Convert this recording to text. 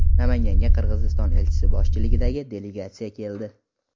Namanganga Qirg‘iziston elchisi boshchiligidagi delegatsiya keldi.